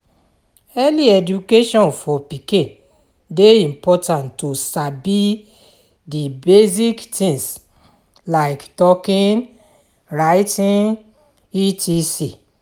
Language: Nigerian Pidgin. Early education for pikin de important to sabi di basic things like talking, writing etc